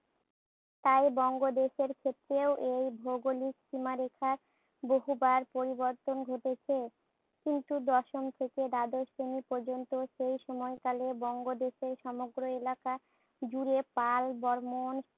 তাই বঙ্গদেশের ক্ষেত্রেও এই ভৌগোলিক সীমারেখার বহুবার পরিবর্তন ঘটেছে। কিন্তু দশম থেকে দ্বাদশ শ্রেণী পর্যন্ত সেই সময়কালে বঙ্গদেশের সামগ্র এলাকাজুড়ে পাল, বর্মণ,